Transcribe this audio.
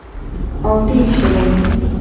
Olti yil ishlagan edim.